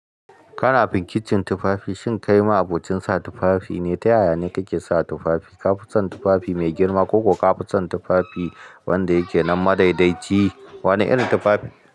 Kana fin kicin tufafi, shin kai ma abocin sa tufafi ne? Ta yaya ne kake sa tufafi? Ka fi son tufafi mai girma ko ka fi son tufafi wanda yake nan madaidaici? Wane irin tufafi?